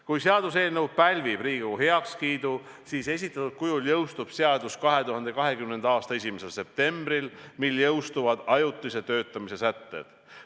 Kui seaduseelnõu pälvib Riigikogu heakskiidu, siis esitatud kujul jõustub seadus 2020. aasta 1. septembril, mil jõustuvad ajutise töötamise sätted.